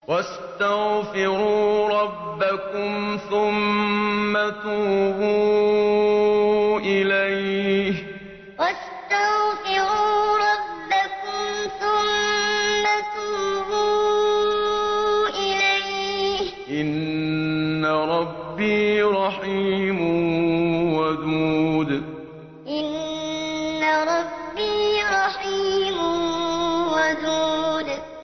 وَاسْتَغْفِرُوا رَبَّكُمْ ثُمَّ تُوبُوا إِلَيْهِ ۚ إِنَّ رَبِّي رَحِيمٌ وَدُودٌ وَاسْتَغْفِرُوا رَبَّكُمْ ثُمَّ تُوبُوا إِلَيْهِ ۚ إِنَّ رَبِّي رَحِيمٌ وَدُودٌ